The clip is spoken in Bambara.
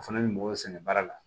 O fana bɛ mɔgɔw sɛgɛn baara la